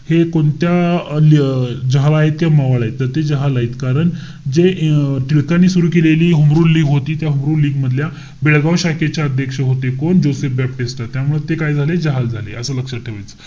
हे कोणत्या अं जहाल आहेत का मवाळ आहेत. तर ते जहाल आहेत कारण जे अं टिळकांनी सुरु केलेली होमरूल लीग होती. त्या होमरूल लीग मधल्या बेळगाव शाखेचे अध्यक्ष होते. कोण? जोसेफ बॅप्टिस्टा. त्यामुळे ते काय झाले? जहाल झाले. असं लक्षात ठेवायचंय.